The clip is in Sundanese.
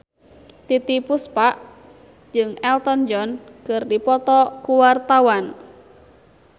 Titiek Puspa jeung Elton John keur dipoto ku wartawan